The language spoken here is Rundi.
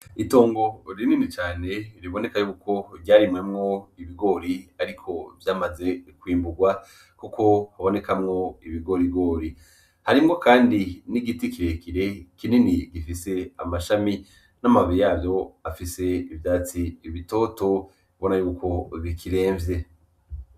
Itongo rinini cane ,riboneka yuko ryarimwemwo ibigori ariko vyamaze kw'imburwa kuko habonekamwo ibigorigori ,harimwo Kandi n'igiti kirekire kinini gifise amashami n'amababi yavyo afise ivyatsi bitoto ubona ko bikiremvye